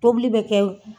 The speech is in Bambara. Tobili bɛ kɛ